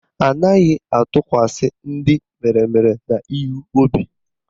Anaghị atụkwasa ndị meremere n'ihu obi